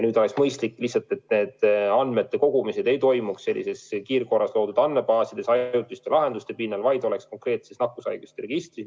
Nüüd oleks mõistlik, et vajalike andmete kogumine ei toimuks sellistes kiirkorras loodud andmebaasides ja ainult ajutiste lahenduste pinnal, vaid info oleks konkreetses nakkushaiguste registris.